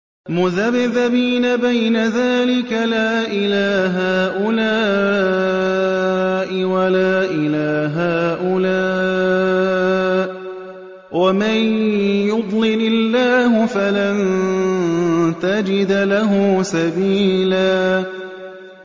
مُّذَبْذَبِينَ بَيْنَ ذَٰلِكَ لَا إِلَىٰ هَٰؤُلَاءِ وَلَا إِلَىٰ هَٰؤُلَاءِ ۚ وَمَن يُضْلِلِ اللَّهُ فَلَن تَجِدَ لَهُ سَبِيلًا